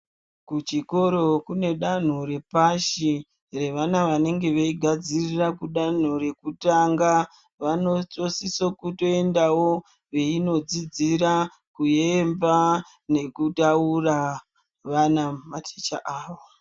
Kuchikoro kune danho repashi revana vanenge veigadzirira kudanho rekutanga vanotosiso kutoendavo veinodzidzira kuemba nekutaura vana maticha avo.